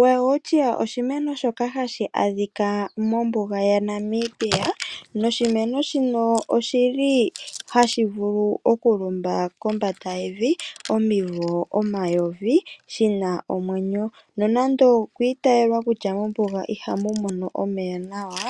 Welwitschia oshimeno shoka hashi adhika mombuga yaNamibia noshimeno shino oshili hashi vulu oku lumba kombanda yevi omivo omayovi shina omwenyo, nonando okwi itayelwa kutya mombuga ihamu mono omeya nawa,